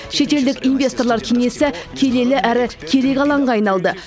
шетелдік инвесторлар кеңесі келелі әрі керек алаңға айналды